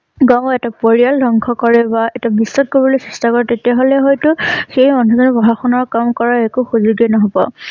বেয়া হোৱা এটা পৰিয়াল ধ্বংস কৰে বা এটা বিশ্বাস কৰিবলৈ তাৰ পৰা তেতিয়া হলে হয়তো সেই মানুহবোৰে পঢ়া শুনা কাম কাম কৰা একো সুযোগ নহব।